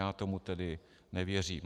Já tomu tedy nevěřím.